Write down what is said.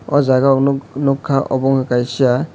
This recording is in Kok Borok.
o jaga o nog nogka abo ungka kaisa.